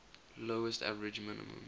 lowest average minimum